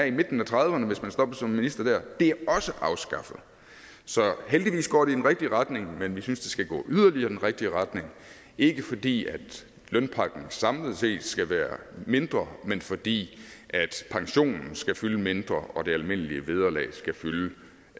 i midten af trediverne hvis man der stoppede som minister det er også afskaffet så heldigvis går det i den rigtige retning men vi synes det skal gå yderligere i den rigtige retning ikke fordi lønpakken samlet set skal være mindre men fordi pensionen skal fylde mindre og det almindelige vederlag skal fylde